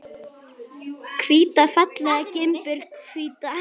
Hvíta fallega gimbur, hvíta.